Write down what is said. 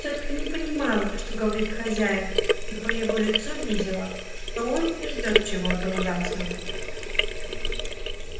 тётка не понимала что говорит хозяин но по его лицу видела что он и ждёт чего-то ужасного